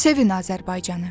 Sevin Azərbaycanı.